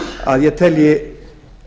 að ég telji